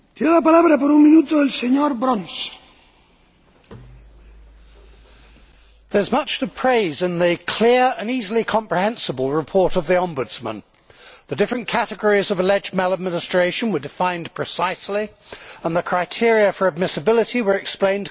Mr President, there is much to praise in the clear and easily comprehensible report of the Ombudsman. The different categories of alleged maladministration were defined precisely and the criteria for admissibility were explained clearly.